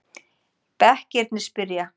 Bekkirnir spyrja!